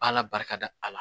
Ala barika a la